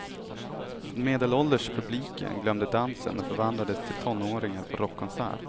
Den medelålders publiken glömde dansen och förvandlades till tonåringar på rockkonsert.